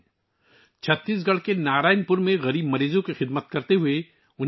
وہ پانچ دہائیوں سے زیادہ عرصے سے نارائن پور، چھتیس گڑھ میں غریب مریضوں کی خدمت کر رہے ہیں